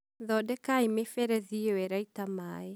thondekai mĩberethi ĩyo ĩraita maĩ.